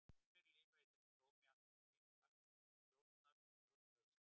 Sumir lifa í þessu tómi allt sitt líf, flakka á milli stjórnar og stjórnleysis.